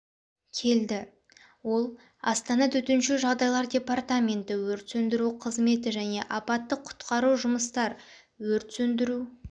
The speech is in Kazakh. келді ол астана төтенше жағдайлар департаменті өрт сөндіру қызметі және апаттық құтқару жұмыстар өрт сөндіру